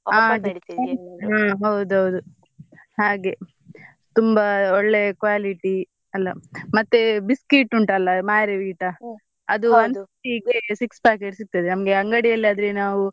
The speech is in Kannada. ಹ್ಮ್ ಹೌದೌದು ಹಾಗೆ ತುಂಬಾ ಒಳ್ಳೆ quality ಅಲ ಮತ್ತೆ biscuit ಉಂಟ್ ಅಲ Marie Vita one-fifty ಗೆ six packet ಸಿಗ್ತದೆ ನಮ್ಗೆ ಅಂಗಡಿ ಅಲ್ಲಿ ಆದ್ರೆ ನಾವು.